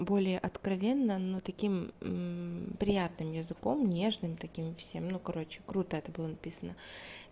более откровенно но таким приятным языком нежным таким всем ну короче круто это было написано